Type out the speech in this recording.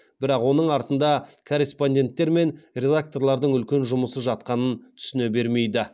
бірақ оның артында корреспонденттер мен редакторлардың үлкен жұмысы жатқанын түсіне бермейді